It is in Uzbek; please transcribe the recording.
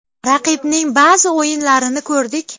Raqibning ba’zi o‘yinlarini ko‘rdik.